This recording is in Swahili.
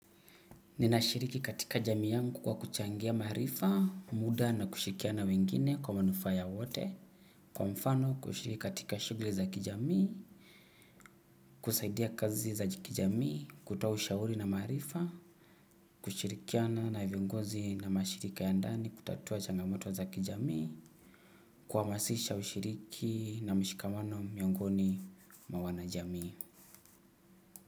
Ninashiriki katika jamii yangu kwa kuchangia maarifa muda na kushirikiana na wengine kwa manufaa ya wote. Kwa mfano kushiriki katika shugli za kijamii, kusaidia kazi za kijamii, kutoaushauri na maarifa, kushirikia na navyongozi na mashirika ya ndani kutatua changamoto za kijamii, kuamasisha ushiriki na mshikamano miongoni mwa wanajamii.